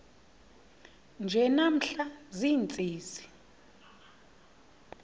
nje namhla ziintsizi